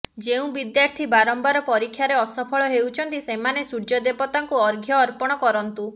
ଯେଉଁ ବିଦ୍ୟାର୍ଥୀ ବାରମ୍ବାର ପରୀକ୍ଷାରେ ଅସଫଳ ହେଉଛନ୍ତି ସେମାନେ ସୂର୍ଯ୍ୟଦେବତାଙ୍କୁ ଅର୍ଘ୍ୟ ଅର୍ପଣ କରନ୍ତୁ